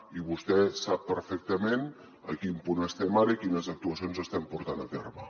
i vostè sap perfectament a quin punt estem ara i quines actuacions estem portant a terme